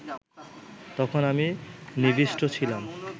তখন আমি নিবিষ্ট ছিলাম